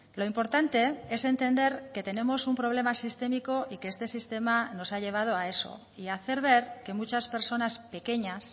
lo importante es entender que tenemos un problema sistémico y que este sistema nos ha llevado a eso y hacer ver que muchas personas pequeñas